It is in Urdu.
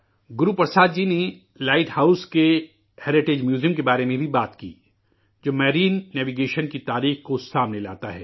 گرو پرساد جی نے لائٹ ہاؤس کےہیرٹیج میوزیم کے بارے میں بھی بات کی، جو میرین نیوی گیشن کی تاریخ کو سامنے لاتا ہے